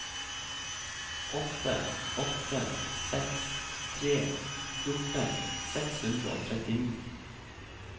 åtte åtte seks tre fjorten seks hundre og trettini